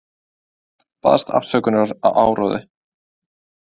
Baðst afsökunar á áróðri